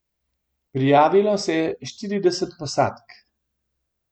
Prijavilo se je štirideset posadk.